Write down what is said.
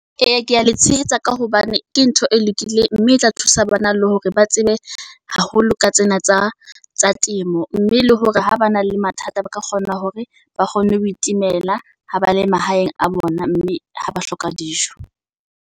Eya kea le tshehetsa ka hobane ke ntho e lokileng mme e tla thusa bana le hore ba tsebe haholo ka tsena tsa tsa temo. Mme le hore ha ba na le mathata, ba ka kgona hore ba kgone ho itemela ha ba le mahaeng a bona mme ha ba hloka dijo.